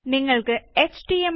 നിങ്ങള് എച്ച്ടിഎംഎല്